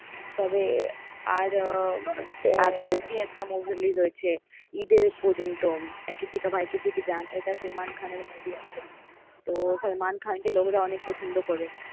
তবে আর কালকে একটা movie release হয়েছে ঈদের পর্যন্ত কিসি কা ভাই কিসি কি জান এটা সালমান খানের movie আছে তো সালমান খানকে লোকরা অনেক পছন্দ করে।